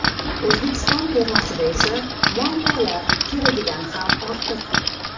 O‘zbekiston termasida esa muammolar keragidan ham ortiq.